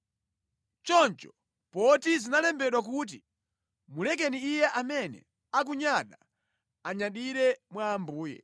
Choncho poti zinalembedwa kuti, “Ngati munthu akufuna kunyadira, anyadire mwa Ambuye.”